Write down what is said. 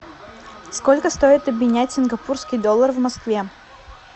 сколько стоит обменять сингапурский доллар в москве